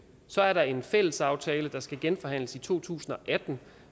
så er der en fælles aftale der skal genforhandles i to tusind og atten